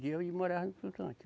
Vendia e morava no flutuante.